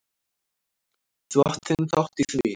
Þú átt þinn þátt í því.